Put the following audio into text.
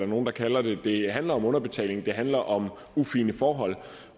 nogle der kalder det det handler om underbetaling det handler om ufine forhold